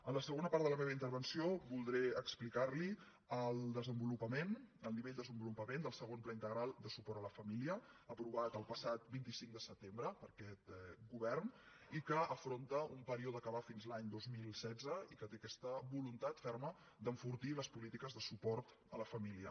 en la segona part de la meva intervenció voldré expli·car·li el nivell de desenvolupament del segon pla in·tegral de suport a la família aprovat el passat vint cinc de setembre per aquest govern i que afronta un període que va fins l’any dos mil setze i que té aquesta voluntat ferma d’enfortir les polítiques de suport a la família